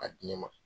A di ne ma